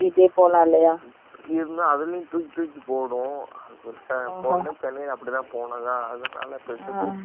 இருந்தாலும் அதிலயும் தூக்கி தூக்கி போடும் போன டிமெ சென்னை கு போகும் போதது அப்டி தான் பேருசா தூக்கம் ஏதும் வர்ல